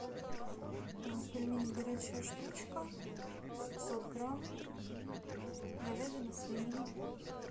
пельмени горячая штучка пятьсот грамм говядина свинина